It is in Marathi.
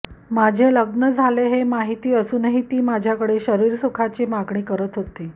माझे लग्न झाले आहे हे माहित असूनही ती माझ्याकडे शरीरसुखाची मागणी करत होती